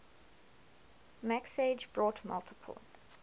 mixage brought multiple